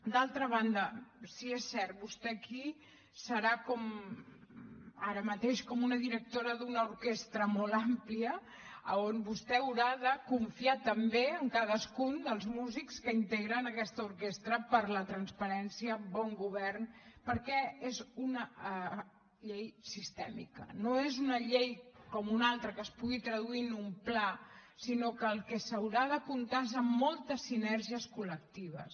d’altra banda si és cert vostè aquí serà ara mateix com una directora d’una orquestra molt àmplia a on vostè haurà de confiar també en cadascun dels músics que integren aquesta orquestra per la transparència bon govern perquè és una llei sistèmica no és una llei com una altra que es pugui traduir en un pla sinó que el que s’haurà de comptar és amb moltes sinergies col·lectives